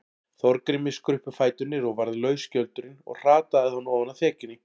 Þorgrími skruppu fæturnir og varð laus skjöldurinn og hrataði hann ofan af þekjunni.